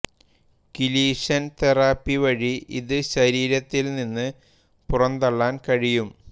കിലീഷൻ therapy വഴി ഇത് ശരീരത്തിൽ നിന്ന് പുറന്തള്ളാൻ കഴിയും